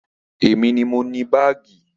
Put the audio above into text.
Èmi ni mo ni baagi